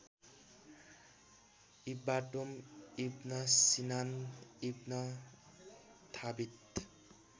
इब्बाटोम Ibn Sinan ibn थाबित